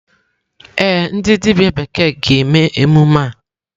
Ee, ndị dibịa bekee ga-eme emume a.